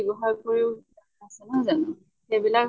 ব্য়ৱহাৰ কৰিও নহয় জানো, সেইবিলাক